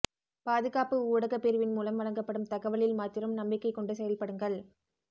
பாதுகாப்பு ஊடகப் பிரிவின் மூலம் வழங்கப்படும் தகவலில் மாத்திரம் நம்பிக்கைக் கொண்டு செயல்படுங்கள்